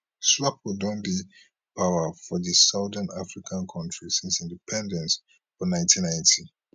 swapo don dey power for di southern african kontri since independence for 1990